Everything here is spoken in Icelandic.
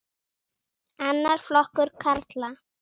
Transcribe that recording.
Annar flokkur karla.